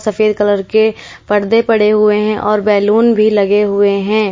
सफेद कलर के पर्दे पड़े हुए हैं और बैलून भी लगे हुए हैं।